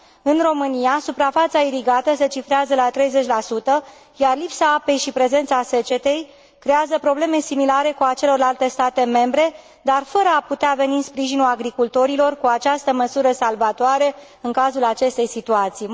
În România suprafața irigată se cifrează la 30 iar lipsa apei și prezența secetei creează probleme similare cu a celorlalte state membre, dar fără a putea veni în sprijinul agricultorilor cu această măsură salvatoare în cazul acestei situații.